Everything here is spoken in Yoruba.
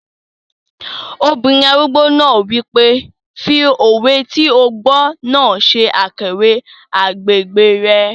Obìnrin arúgbó náà wípé, "fi òwe tí o gbọ́ náà ṣe àkàwé agbègbè rẹ̀